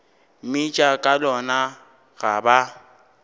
mmitša ka lona ga ba